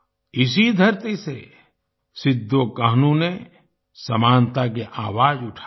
इसी धरती से सिद्धोकान्हू ने समानता की आवाज उठाई